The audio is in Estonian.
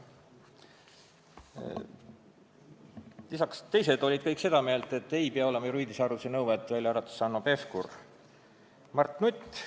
Kõik sõnavõtjad olid seda meelt, et ei pea olema juriidilise hariduse nõuet, välja arvatud Hanno Pevkur, kes pidas seda vajalikuks.